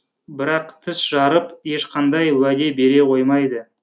бірақ тіс жарып ешқандай уәде бере қоймайды